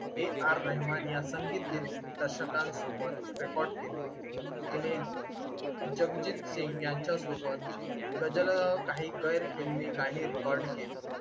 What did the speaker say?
A. R. Rahman या संगीत दिग्दर्शकांसोबत रेकॉर्ड केले. तिने जगजीत सिंग यांच्यासोबत गझल काही गैरफिल्मी गाणी रेकॉर्ड केली.